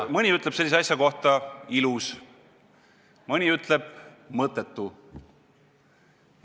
Mõni ütleb sellise asja kohta ilus, mõni ütleb mõttetu.